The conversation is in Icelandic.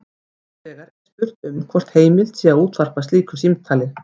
Hins vegar er spurt um hvort heimilt sé að útvarpa slíku símtali.